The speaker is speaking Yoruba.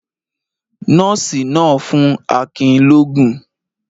Nọ́ọ́sì náà ń fún Akin lóógún.